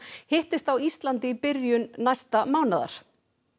hittist á Íslandi í byrjun næsta mánaðar